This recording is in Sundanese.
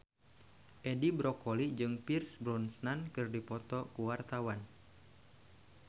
Edi Brokoli jeung Pierce Brosnan keur dipoto ku wartawan